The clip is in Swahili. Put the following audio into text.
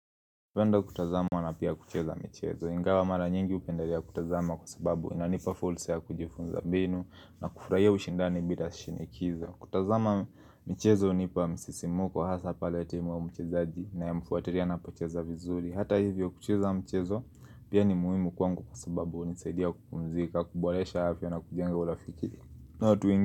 Huenda kutazama na pia kucheza michezo, ingawa mara nyingi hupendelea kutazama kwa sababu inanipa fulsa ya kujifunza binu na kufurahia ushindani bila shinikizo. Kutazama michezo hunipa msisimuko, hasa pala timu au mchezaji ninayemfuatilia anapocheza vizuri. Hata hivyo kucheza michezo pia ni muhimu kwangu kwa sababu hunisaidia kupumzika, kuboresha afya na kujenga urafiki.